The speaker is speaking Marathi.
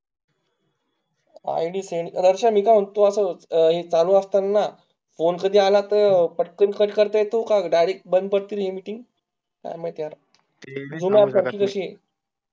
id send, रश्या मी काई म्हणतो असा हे हे चालू असतांना phone कधी आला तर पटकन cut करता येतो का direct बंद करतील हि meeting, काय महित कशी ए